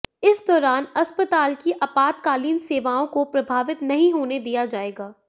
इस दौरान अस्पताल की आपातकालीन सेवाआें को प्रभावित नहीं होने दिया जाएगा